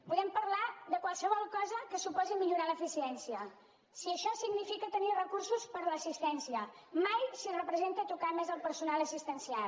podem parlar de qualsevol cosa que suposi millorar l’eficiència si això significa tenir recursos per a l’assistència mai si representa tocar més el personal assistencial